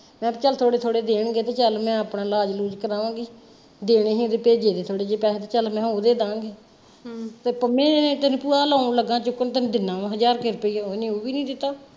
ਮੈਂ ਕਿਹਾ ਚੱਲ ਥੋੜੇ ਥੋੜੇ ਦੇਣਗੇ ਤੇ ਚੱਲ ਮੈਂ ਆਪਣਾ ਇਲਾਜ ਇਲੂਜ ਕਰਾਵਾਂਗੀ, ਦੇਣੇ ਹੀ ਤੇ ਭੇਜੇ ਦੇ ਥੋੜੇ ਜੇ ਪੈਸੇ ਤੇ ਚਲ ਮੈਂ ਓਹਦੇ ਦਾਂਗੀ, ਤੇ ਪੰਮੈ ਭੂਆ ਵਲ ਆਉਣ ਲੱਗਾ ਚੁੱਕਣ ਤੈਨੂੰ ਦਿੰਨਾ ਵਾ ਹਜ਼ਾਰ ਕ ਰੁਪਇਆ ਇਹਨੇ ਉਹ ਵੀ ਨਹੀਂ ਦਿੱਤਾ।